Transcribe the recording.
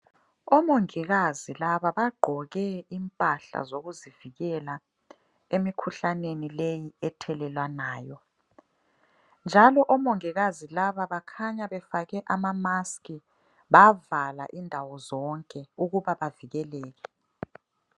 Omongikazi laba bagqoke impahla zokuzivikela emikhuhlaneni leyi ethelelwanayo njalo omongikazi laba bakhanya befake ama mask bavala indawo zonke ukuba bavikeleke.